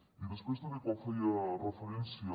i després també quan feia referència